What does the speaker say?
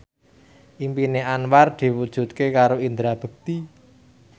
impine Anwar diwujudke karo Indra Bekti